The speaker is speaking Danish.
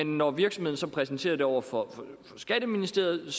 når virksomheden så præsenterer det over for skatteministeriet